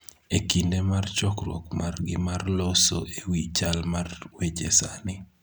e kinde mar chokruok margi mar loso e wi chal mar weche sani